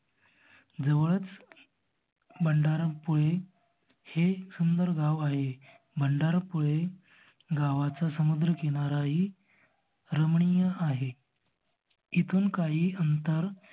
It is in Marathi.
जवळच मंडारा पुळे हे सुंदर गाव आहे. मंडारा पुळे गावचा समुद्र किनारा ही रमणीय आहे. इथून काही अंतर